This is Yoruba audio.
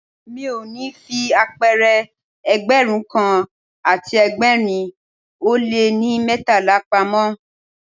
Mi ò ní fi apẹ̀rẹ̀ Ẹgbẹ̀rún kan àti ẹgbẹ̀rin ó lé ní mẹ́tàlá pamọ́.